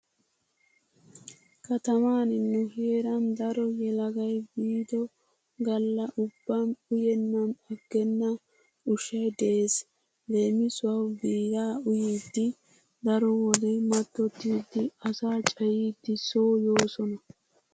Kataman nu heeran daro yelagay biido galla ubban uyennan aggenna ushshay de'ees. Leemisuwawu biiraa uyidi daro wode mattottidi asaa cayiiddi soo yoosona.